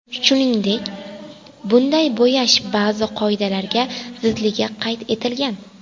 Shuningdek, bunday bo‘yash ba’zi qoidalarga zidligi qayd etilgan.